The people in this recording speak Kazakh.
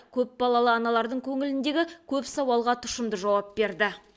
көпбалалы аналардың көңіліндегі көп сауалға тұшымды жауап берді